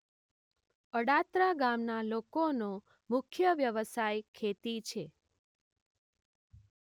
અડાત્રા ગામના લોકોનો મુખ્ય વ્યવસાય ખેતી છે.